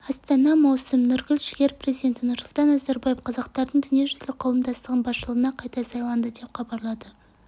астана маусым нұргүл жігер президенті нұрсұлтан назарбаев қазақтардың дүниежүзілік қауымдастығының басшылығына қайта сайланды деп хабарлады